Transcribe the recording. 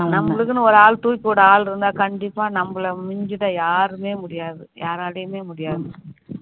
நம்மளுக்குன்னு ஒராள் தூக்கிவிட ஆள் இருந்தா கண்டிப்பா நம்மள மிஞ்சிட யாருமே முடியாது யாராலையுமே முடியாது